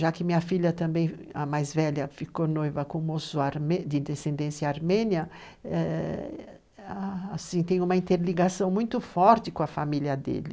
Já que minha filha também, a mais velha, ficou noiva com um moço de descendência armênia, eh, ah, tem uma interligação muito forte com a família dele.